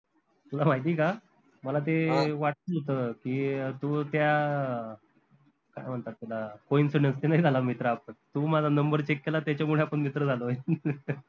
तुला माहितीय का? मला ते वाटलंच होत की, तू त्या काय म्हनतात त्याला coincidence नी नाही झाला मित्र आपन तू माझा number check केला त्याच्यामुडे आपन मित्र झालोय